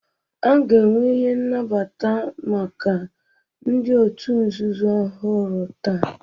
A ga-enwe emume nnabata maka ndị òtù nzuzo ọhụrụ taa?